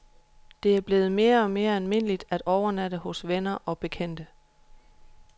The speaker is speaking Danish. Det er blevet mere og mere almindeligt at overnatte hos venner og bekendte.